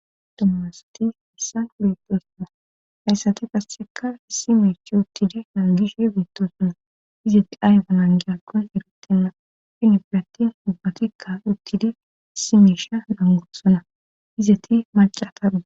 Aommasati hissan beepesona hayssati qasseka issi meechi uttidi nangishe beettosona izeti ayfa nangi aggon erutenna fhinifidattin ubbatikka uttidi issi meesha nangorsona izeti mace ataru